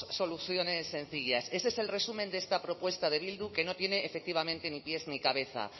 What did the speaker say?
soluciones sencillas ese es el resumen de esta propuesta de bildu que no tiene efectivamente ni pies ni cabeza